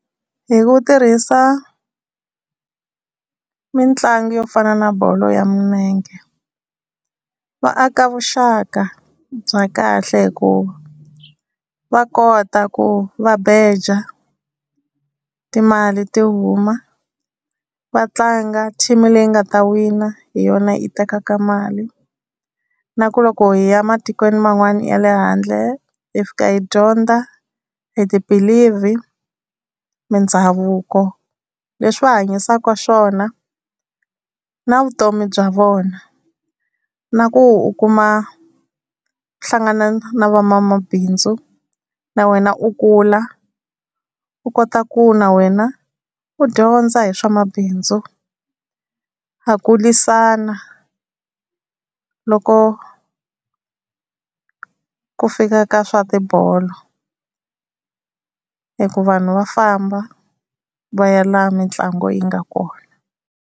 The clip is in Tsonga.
Hi ku tirhisa mitlangu yo fana na bolo ya milenge va aka vuxaka bya kahle, hikuva va kota ku va beja timali ti huma, vatlanga team leyi nga ta wina hi yona yi tekaka mali. Na ku loko hi ya matikweni man'wani ya le handle hi fika hi dyondza hi ti-believe, mindhavuko leswi va hanyisaka swona, na vutomi bya vona. Na ku u kuma u hlangana na van'wamabindzu na wena u kula u kota ku na wena u dyondza hi swa mabindzu. Ha kulisana loko ku fika ka swa tibolo hi ku vanhu va famba va ya laha mitlangu yi nga kona.